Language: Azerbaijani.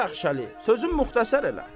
Hacı Bəxşəli, sözü müxtəsər elə.